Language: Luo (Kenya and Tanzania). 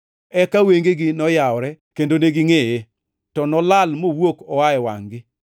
Eka wengegi noyawore kendo negingʼeye, to nolal mowuok oa e wangʼ-gi.